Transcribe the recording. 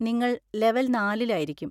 നിങ്ങൾ ലെവൽ നാലിൽ ആയിരിക്കും.